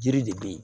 Jiri de be yen